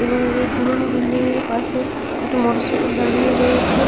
এবং এই পুরনো বিল্ডিং -এর পাশে একটা মোটরসাইকেল দাঁড়িয়ে রয়েছে।